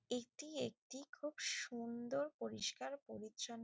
একটি একটি খুব সুন্দর পরিষ্কার পরিচ্ছন্--